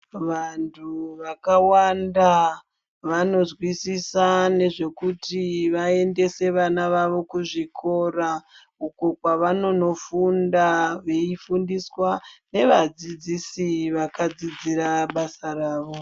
Vantu vakawanda vanozwizisa nezvekuti vaendese vana vavo kuzvikora uku kwavanondofunda veifundiswa nevadzidzisi vakadzidzira basa ravo.